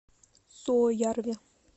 суоярви